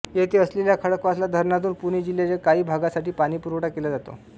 येथे असलेल्या खडकवासला धरणातून पुणे जिल्ह्याच्या काही भागासाठी पाणीपुरवठा केला जातो